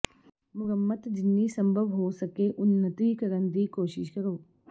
ਮੁਰੰਮਤ ਜਿੰਨੀ ਸੰਭਵ ਹੋ ਸਕੇ ਉੱਨਤੀ ਕਰਨ ਦੀ ਕੋਸ਼ਿਸ਼ ਕਰੋ